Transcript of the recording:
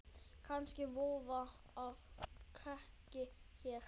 Kannski vofa á kreiki hér.